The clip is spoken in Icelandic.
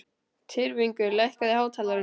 Tyrfingur, lækkaðu í hátalaranum.